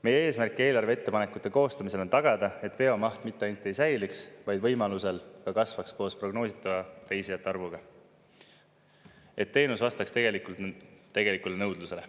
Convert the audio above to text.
Meie eesmärk eelarve ettepanekute koostamisel on tagada, et veomaht mitte ainult ei säiliks, vaid võimalusel ka kasvaks koos prognoositava reisijate arvuga, et teenus vastaks tegelikule nõudlusele.